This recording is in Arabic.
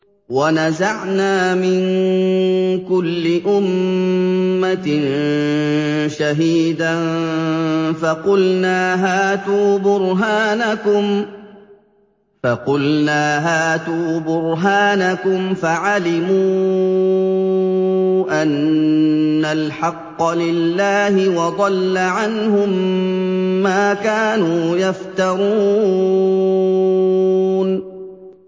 وَنَزَعْنَا مِن كُلِّ أُمَّةٍ شَهِيدًا فَقُلْنَا هَاتُوا بُرْهَانَكُمْ فَعَلِمُوا أَنَّ الْحَقَّ لِلَّهِ وَضَلَّ عَنْهُم مَّا كَانُوا يَفْتَرُونَ